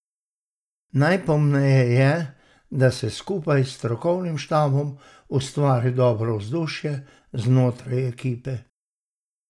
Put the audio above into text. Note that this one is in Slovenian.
Najpomembneje je, da se skupaj s strokovnim štabom ustvari dobro vzdušje znotraj ekipe.